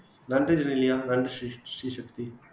நன்றி ஜெனிலியா நன்றி ஸ்ரீசக் ஸ்ரீசக்தி